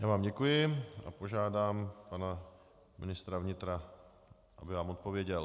Já vám děkuji a požádám pana ministra vnitra, aby vám odpověděl.